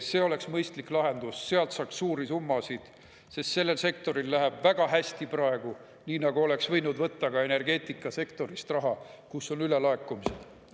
See oleks mõistlik lahendus, sealt saaks suuri summasid, sest sellel sektoril läheb väga hästi praegu, nii nagu oleks võinud võtta raha ka energeetikasektorist, kus on ülelaekumine.